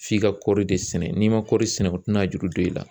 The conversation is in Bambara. F'i ka kɔɔri de sɛnɛ n'i ma kɔɔri sɛnɛ o tɛna juru don i la